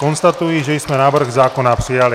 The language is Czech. Konstatuji, že jsme návrh zákona přijali.